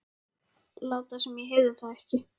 Láta sem ég heyrði það ekki.